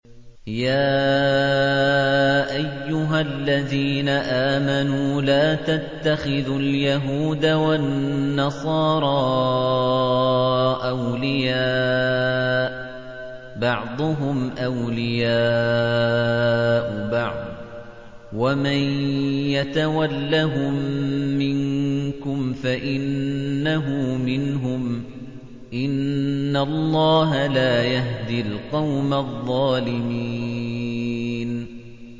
۞ يَا أَيُّهَا الَّذِينَ آمَنُوا لَا تَتَّخِذُوا الْيَهُودَ وَالنَّصَارَىٰ أَوْلِيَاءَ ۘ بَعْضُهُمْ أَوْلِيَاءُ بَعْضٍ ۚ وَمَن يَتَوَلَّهُم مِّنكُمْ فَإِنَّهُ مِنْهُمْ ۗ إِنَّ اللَّهَ لَا يَهْدِي الْقَوْمَ الظَّالِمِينَ